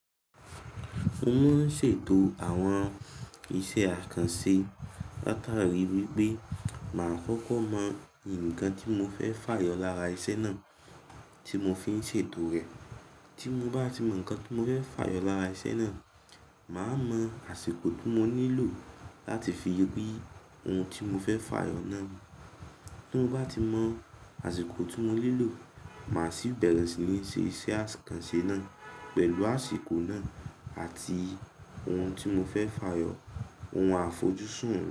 Mo máa ń ṣètò àwọn iṣẹ́ àkànṣe látàrí wípé màá kọ́kọ́ mọ ǹkan tí mo fẹ́ fà yọ lára iṣẹ́ náà tí mo fi ń ṣètò rẹ̀. Tí mo bá ti mọ ǹkan tí mo fẹ́ fà yọ lára iṣẹ́ náà, màá mọ àsìkò tí mo nílò láti fi rí ohun tí mo fẹ́ fà yọ náà. Tí mo bá ti mọ àsìkò tí mo nílò, màá sì bẹ̀rẹ̀ sí ní ṣe iṣẹ́ àkànṣe náà pẹ̀lú àsìkò náà àti ohun tí mo fẹ́ fà yọ, ohun àfojúsùn.